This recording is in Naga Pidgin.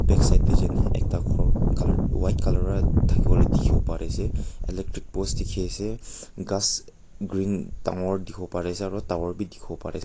back side te jaine ekta ghor colour white colour wra thaki wole dikhiwo pare ase electric post dikhi ase ghas green dangor dikhiwo pare ase aro tawor bi dikhiwo pare ase.